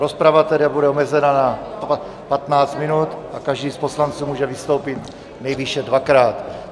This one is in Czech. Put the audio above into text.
Rozprava tedy bude omezena na 15 minut a každý z poslanců může vystoupit nejvýše dvakrát.